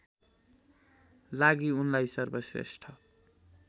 लागि उनलाई सर्वश्रेष्ठ